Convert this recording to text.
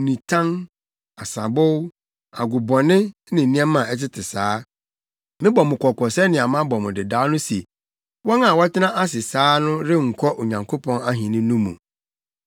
nitan, nsabow, agobɔne, ne nneɛma a ɛtete saa. Mebɔ mo kɔkɔ sɛnea mabɔ mo dedaw no se, wɔn a wɔtena ase saa no renkɔ Onyankopɔn Ahenni no mu.